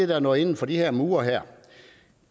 der er nået inden for de her mure